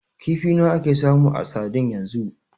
Kifi nawa ake samu a sadin yanzu?